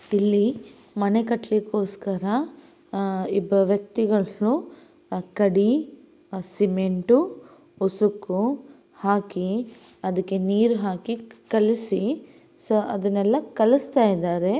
ಇಲ್ಲಿ ಮನೆ ಕಟ್ಟಲಿಕೋಸ್ಕರ ಆಹ್ ಇಬ್ಬ ವ್ಯಕ್ತಿಗಳು ಕಡಿ ಆ ಸಿಮೆಂಟು ಉಸುಕು ಹಾಕಿ ಅದಕ್ಕೆ ನೀರು ಹಾಕಿ ಕಲಸಿ ಸಿ-ಅದನ್ನೆಲ್ಲಾ ಕಲಸ್ತಾ ಇದ್ದಾರೆ.